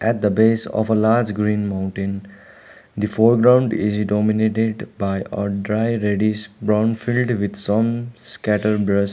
at the base of a large green mountain the foreground is dominated by a dry reddish brown filled with some scattered .